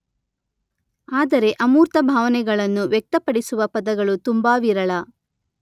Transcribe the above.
ಆದರೆ ಅಮೂರ್ತ ಭಾವನೆಗಳನ್ನು ವ್ಯಕ್ತಪಡಿಸುವ ಪದಗಳು ತುಂಬಾ ವಿರಳ.